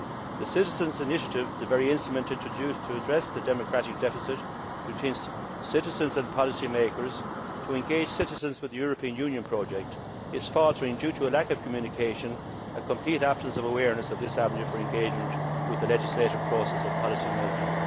The Citizens' Initiative, the very instrument introduced to address the democratic deficit between citizens and policymakers to engage citizens with the European Union project, is faltering due to a lack of communication and a complete absence of awareness of this avenue for engagement with the legislative process and policymaking.